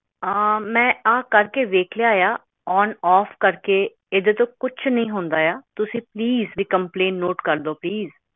ਆਹ ਮੈਂ ਆ ਕਰਕੇ ਵੇਖ ਲਿਆ ਆ ਓਨ ਓਫ ਏਦੇ ਤੋਂ ਕੁਛ ਨੀ ਹੁੰਦਾ ਆ ਤੁਸੀਂ ਪਲੀਸ ਇਹ ਕੰਪਲੈਂਟ ਨੋਟ ਕਰਲੋ ਪਲੀਸ